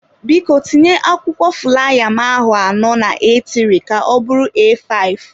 Biko tinye akwụkwọ fulaya m ahụ anọ na aetịrị ka ọ bụrụ eafive.